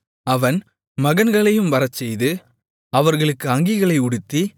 அவன் மகன்களையும் வரச்செய்து அவர்களுக்கு அங்கிகளை உடுத்தி